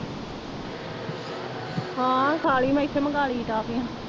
ਹਾਂ, ਖਾ ਲਈ। ਮੈਂ ਇੱਥੇ ਮੰਗਾ ਲਈ ਸੀ।